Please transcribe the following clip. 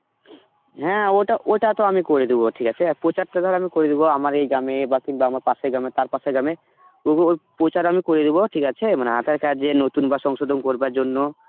হ্যাঁ ওটা, ওটা তো আমি করে দেবো ঠিক আছে, প্রচারটা ধর আমি করে দিব আমার এই গ্রামে বা কিংবা আমার পাশের গ্রামে, তার পাশে গ্রাম প্রচার আমি করে দিব ঠিক আছে মানে aadhar card যে নতুন বা সংশোধন করবার জন্য